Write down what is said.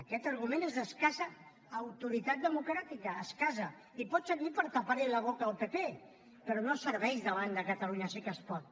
aquest argument és d’escassa autoritat democràtica escassa i pot servir per tapar li la boca al pp però no serveix davant de catalunya sí que es pot